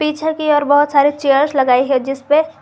पीछे की ओर बहोत सारे चेयर्स लगाई है जिस पे--